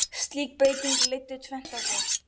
Slík breyting leiddi tvennt af sér.